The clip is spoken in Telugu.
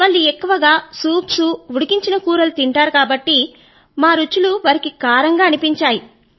వాళ్ళు ఎక్కువగా సూప్స్ ఉడికించిన కూరలు తింటారు కాబట్టి మా రుచులు వారికి కారంగా అనిపించాయి